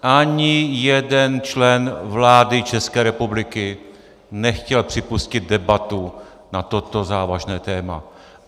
Ani jeden člen vlády České republiky nechtěl připustit debatu na toto závažné téma.